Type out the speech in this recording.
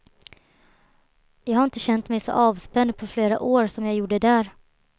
Jag har inte kännt mig så avspänd på flera år som jag gjorde där.